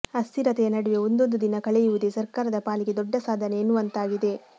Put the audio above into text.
ಅಸ್ಥಿರತೆಯ ನಡುವೆ ಒಂದೊಂದು ದಿನ ಕಳೆಯುವುದೇ ಸರ್ಕಾರದ ಪಾಲಿಗೆ ದೊಡ್ಡ ಸಾಧನೆ ಎನ್ನುವಂತಾಗಿದೆ